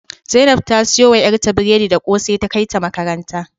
Zainab ta siyo wa yarta biredi da kose ta kaita makaranta